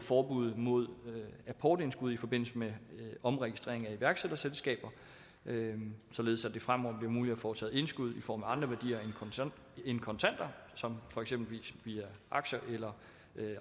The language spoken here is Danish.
forbuddet mod apportindskud i forbindelse med omregistrering af iværksætterselskaber således at det fremover bliver muligt at foretage indskud i form af andre værdier end kontanter som eksempelvis via aktier eller